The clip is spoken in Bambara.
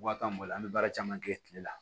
Wa kan boli an bɛ baara caman kɛ kile la